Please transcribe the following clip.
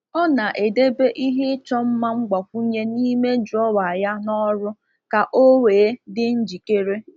Ọ na-edebe ihe ịchọ mma mgbakwunye n’ime drọwa ya n’ọrụ ka o wee dị njikere.